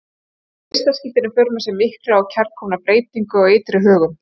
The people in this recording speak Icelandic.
Höfðu vistaskiptin í för með sér mikla og kærkomna breytingu á ytri högum.